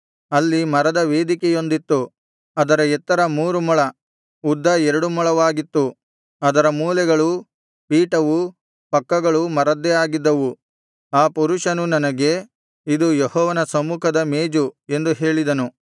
ಅಲ್ಲಿ ಮರದ ವೇದಿಕೆಯೊಂದಿತ್ತು ಅದರ ಎತ್ತರ ಮೂರು ಮೊಳ ಉದ್ದ ಎರಡು ಮೊಳವಾಗಿತ್ತು ಅದರ ಮೂಲೆಗಳೂ ಪೀಠವೂ ಪಕ್ಕಗಳೂ ಮರದ್ದೇ ಆಗಿದ್ದವು ಆ ಪುರುಷನು ನನಗೆ ಇದು ಯೆಹೋವನ ಸಮ್ಮುಖದ ಮೇಜು ಎಂದು ಹೇಳಿದನು